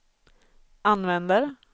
använder